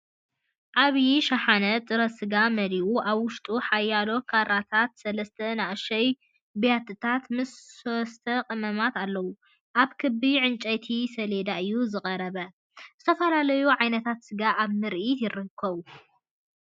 ዓብይ ሻሓነ ጥረ ስጋ መሊኡ ኣብ ውሽጢ ሓያሎ ካራታትን ሰለስተ ንኣሽቱ ብያትታትን ምስ ሶስ/ቀመማት ኣለዉ። ኣብ ክቢ ዕንጨይቲ ሰሌዳ እዩ ዝቐርብ። ዝተፈላለዩ ዓይነታት ስጋ ኣብ ምርኢት ይርከቡ።